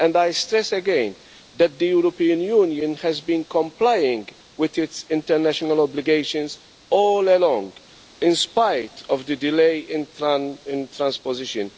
I stress again that the European Union has been complying with its international obligations all along, in spite of the delay in transposition.